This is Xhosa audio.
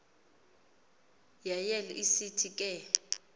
yael isithi ke